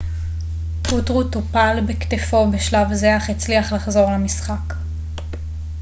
פוטרו טופל בכתפו בשלב זה אך הצליח לחזור למשחק